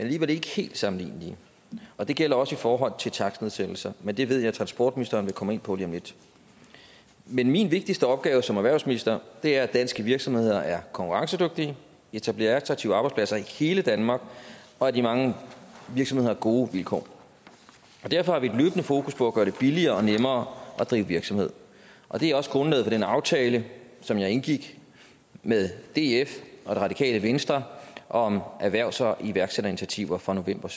alligevel ikke helt sammenlignelige og det gælder også i forhold til takstnedsættelser men det ved jeg at transportministeren vil komme ind på lige om lidt min vigtigste opgave som erhvervsminister er at danske virksomheder er konkurrencedygtige etablerer attraktive arbejdspladser i hele danmark og at de mange virksomheder har gode vilkår derfor har vi løbende fokus på at gøre det billigere og nemmere at drive virksomhed det er også grundlaget for den aftale som jeg indgik med df og det radikale venstre om erhvervs og iværksætterinitiativer fra november